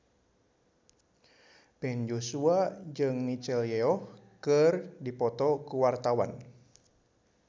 Ben Joshua jeung Michelle Yeoh keur dipoto ku wartawan